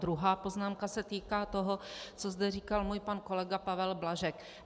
Druhá poznámka se týká toho, co zde říkal můj pan kolega Pavel Blažek.